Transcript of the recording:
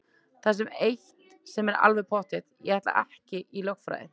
Það er samt eitt sem er alveg pottþétt: Ég ætla ekki í lögfræði!